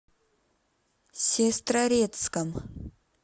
сестрорецком